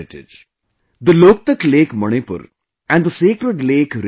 Manipur's cultures have a deep connection with Loktak and the sacred lake Renuka